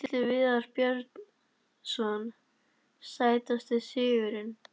Atli Viðar Björnsson Sætasti sigurinn?